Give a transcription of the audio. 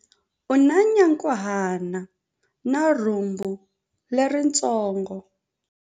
U na nyankhuhana na rhumbu leritsongo.